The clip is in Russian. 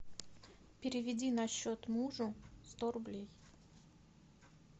переведи на счет мужу сто рублей